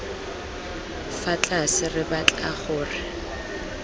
fa tlase re batla gore